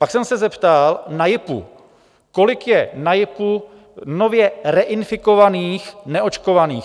Pak jsem se zeptal na JIPu, kolik je na JIPu nově reinfikovaných neočkovaných.